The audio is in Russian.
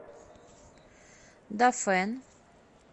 дафэн